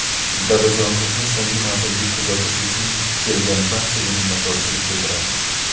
Dadajonimizni so‘nggi manzilga kuzatish uchun kelgan barchaga minnatdorchilik bildiramiz.